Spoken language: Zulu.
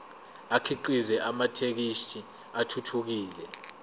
akhiqize amathekisthi athuthukile